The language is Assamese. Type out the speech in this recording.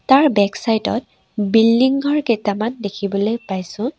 তাৰ বেক চাইড ত বিল্ডিং ঘৰ কেইটামান দেখিবলৈ পাইছোঁ।